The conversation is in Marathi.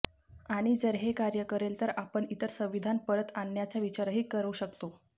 आणि जर हे कार्य करेल तर आपण इतर संविधान परत आणण्याचा विचारही करू शकतो